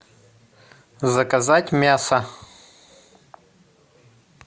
заказать мясо